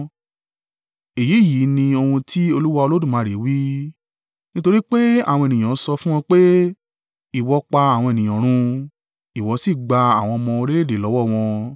“ ‘Èyí yìí ni ohun tí Olúwa Olódùmarè wí: Nítorí pé àwọn ènìyàn sọ fún ọ pé, “Ìwọ pa àwọn ènìyàn run, ìwọ sì gba àwọn ọmọ orílẹ̀-èdè lọ́wọ́ wọn,”